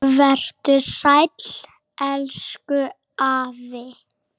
Vertu sæll, elsku afi.